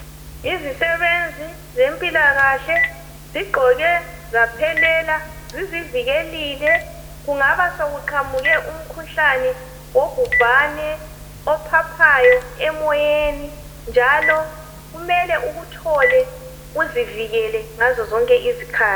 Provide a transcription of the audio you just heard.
Yizisebenzi zempilakahle zigqoke zaphelela .Zizivikelile kungaba sokuqhamuke umkhuhlane wobhubhane ophaphayo emoyeni .Njalo kumele ukuthole uzivikele ngazo zonke izikhathi.